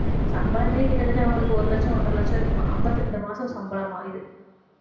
சம்பளமே கிட்டத்தட்ட அவங்களுக்கு ஒரு லட்சம் ஒன்றரை லட்சம் இருக்கும் அம்பத்தி ரெண்டு மாசம் சம்பளமா இது